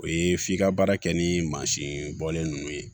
O ye f'i ka baara kɛ ni mansin bɔlen ninnu ye